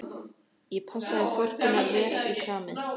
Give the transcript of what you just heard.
Ég passaði forkunnar vel í kramið.